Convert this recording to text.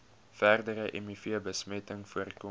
verdere mivbesmetting voorkom